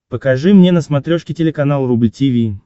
покажи мне на смотрешке телеканал рубль ти ви